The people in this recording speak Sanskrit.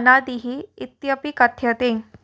अनादिः इत्यपि कथ्यते